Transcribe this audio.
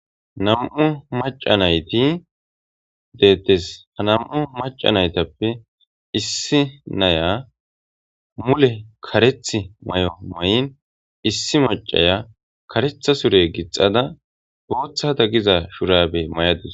Nam,u maca nayti deettes ha nam7u maca naytappe issi naya mule kareth may7o may7in issi macaya karetha sure gixada booththa da giza shurabe may7adus